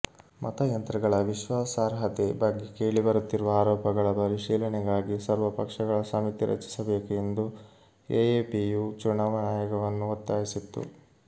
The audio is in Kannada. ಮತಯಂತ್ರಗಳ ವಿಶ್ವಾಸಾರ್ಹತೆ ಬಗ್ಗೆ ಕೇಳಿ ಬರುತ್ತಿರುವ ಆರೋಪಗಳ ಪರಿಶೀಲನೆಗಾಗಿ ಸರ್ವಪಕ್ಷಗಳ ಸಮಿತಿ ರಚಿಸಬೇಕು ಎಂದು ಎಎಪಿಯು ಚುನಾವಣಾ ಆಯೋಗವನ್ನು ಒತ್ತಾಯಿಸಿತ್ತು